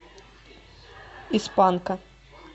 из панка